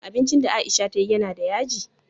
Abincin da aisha tayi yana da yaji?